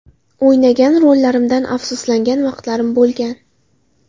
O‘ynagan rollarimdan afsuslangan vaqtlarim bo‘lgan.